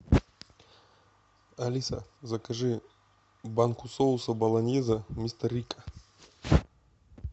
алиса закажи банку соуса болоньезе мистер рикко